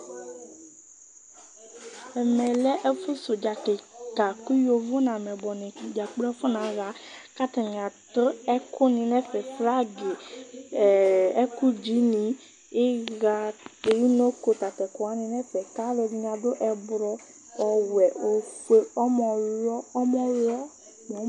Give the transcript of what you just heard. Ɛmɛ lɛ ɛfu sɛ uɖzà kikã Ku yovo nu ameyibɔni dza kplo afuna ɣa Ɛkualɛ kplo ɛkuni nu ɛfɛ, flagi, hhhh ɛku dzi ni: iɣa, unoko, tatɛ ɛkuwani nu ɛfɛ Ku aluɛɖini aɖu ɛdrú ɔwɛ, ofue, ɔmɛwuwɔ, ɛmɛyɛ, nɛ